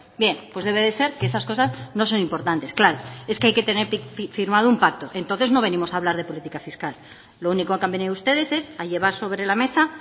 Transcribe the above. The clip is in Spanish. bien pues debe de ser que esas cosas no son importantes claro es que hay que tener firmado un pacto entonces no venimos a hablar de política fiscal lo único que han venido ustedes es a llevar sobre la mesa